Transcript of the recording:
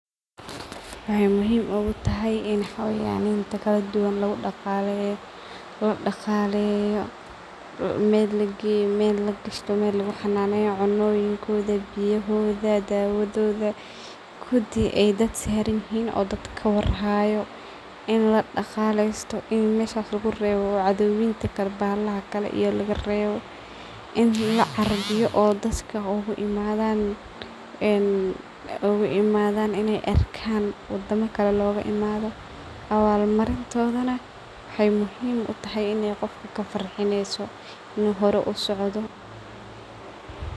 Waxay muhiim ugu tahay in xaywaninta kaladuduwan lagu dagaleeyo meel lageeyo meel lagashto meel lagu xananeynayo cunoyinkoodha biyohodha dawadhodha kudi aay daad saa rinhiin aya kawarhayo in ladagalesto meshas lagureewo cadhowinta kale iyo bahalaha kale lagarewo in lacarbiyo oo daadka oga imadhan inay arkan wadama kale looga imadho awaal marintodhana waxay muhiim u tahay inay qofka kafarhinayeso inay hore usocdo .